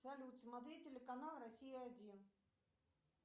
салют смотреть телеканал россия один